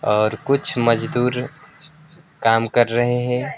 और कुछ मजदूर काम कर रहे हैं।